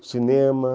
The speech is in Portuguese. O cinema.